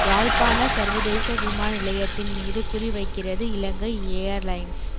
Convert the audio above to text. யாழ்ப்பாண சர்வதேச விமான நிலையத்தின் மீது குறி வைக்கிறது இலங்கை எயார்லைன்ஸ்